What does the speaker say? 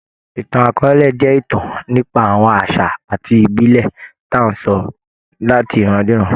Ìtàn akọọ́lẹ̀ jẹ́ ìtàn nípa àwọn àṣà àti ìbílè tí à ńsọ láti ìrandíran.